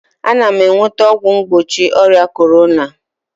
Ana m enweta ọgwụ mgbochi ọrịa corona